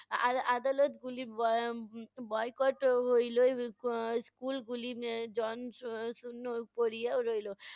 আ~ আর আদালত গুলি bo~ boycott হইলো উম school গুলি জন এর শূন্য পড়িয়াও রইলো।